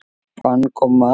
Bang og mark!